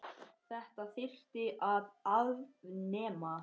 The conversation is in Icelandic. Þetta þyrfti að afnema.